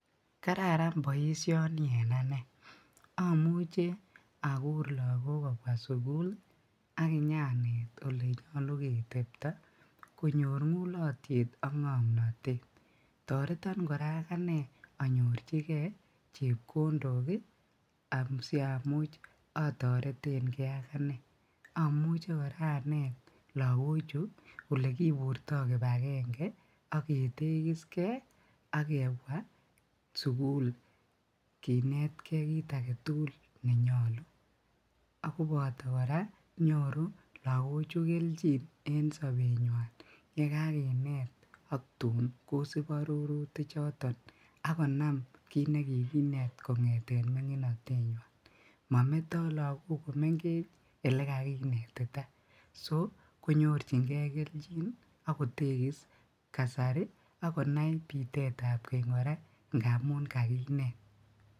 Kararan boishoni en anee, amuche akuur lokok kobwa sukul akinyaneet olenyolu ketebto konyor ng'ulotyet ak ng'omnotet, toreton kora akanee anyorchikee chepkondok asiamuch atoreteng'ee akanee, amuche kora aneet lokochu olekiburto kipakeng'e aketekis kee ak kebwaa sukul kinetkee kiit aketukul nenyolu akoboto kora nyoruu lokochu kelchin en sobenywan yekakinet ak tuun kosib arorutichoton akonam kiit nekikinet kong'eten ming'inotenywan, mometoo lokok komeng'ech elekakinetita, soo konyorching'e kelchin akotekis kasari akonai bitetab keny kora ng'amun kakinet.